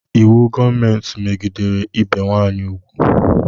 Íwú gọọmenti megidere ibe nwanyị ugwu